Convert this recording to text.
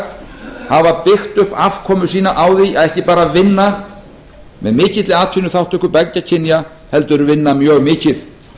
hafa byggt upp afkomu sína á því að ekki bara vinna með mikilli atvinnuþátttöku beggja kynja heldur vinna mjög mikið